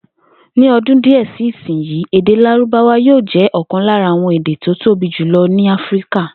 Ní o̩dún díè sí ìsinyìí, èdè Lárúbáwá yóò jé̩ ò̩kan lára àwo̩n èdè tí ó tóbi jùlo̩ ní Áfíríkà